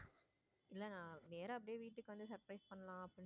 இல்ல நான் நேரா அப்படியே வீட்டுக்கு வந்து surprise பண்ணலாம்னு.